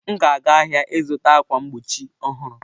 M ga-aga ahịa ịzụta ákwà mgbochi ọhụrụ.